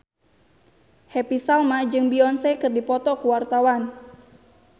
Happy Salma jeung Beyonce keur dipoto ku wartawan